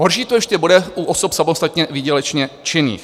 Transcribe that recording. Horší to ještě bude u osob samostatně výdělečně činných.